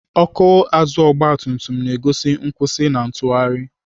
Ọkụ azụ ọgbatumtum na-egosi nkwụsị na ntụgharị.